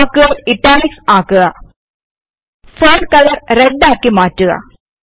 വാക്കുകൾ ഇറ്റാലിക്സ് ആക്കുക font colour red ആക്കി മാറ്റുക